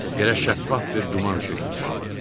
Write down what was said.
Yerə şəffaf bir duman çökmüşdü.